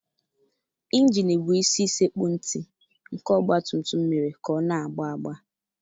Injinụ bụ isi sekpu ntị nke ọgbatumtum mere ka ọ na-agba agba.